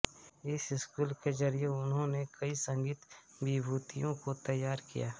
इस स्कूल के जरिए उन्होंने कई संगीत विभूतियों को तैयार किया